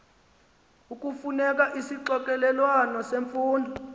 ekufuneka isixokelelwano semfundo